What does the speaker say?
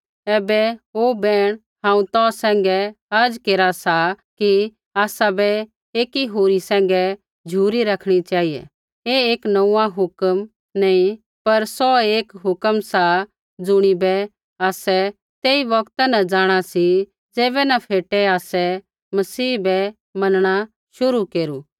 ऐबै हे बैहण हांऊँ तौ सैंघै अर्ज़ केरा सा कि आसाबै एकी होरी सैंघै झ़ुरी रखणी चेहिऐ ऐ एक नोंऊँआं हुक्म नी पर सौऐ एक हुक्म सा ज़ुणिबै आसै तेई बौगता न जाँणा सी ज़ैबै न फेटे आसै मसीह बै मनणा शुरू केरू